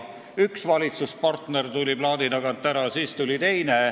Kõigepealt tuli üks valitsuspartner plaadi tagant ära ja siis teine.